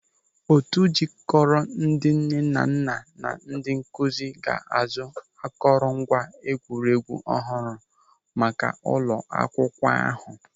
Otu jikọrọ ndị nnenanna na ndị nkụzi ga-azụ akọrọ ngwa egwuregwu ọhụrụ maka ụlọ akwụkwọ ahụ.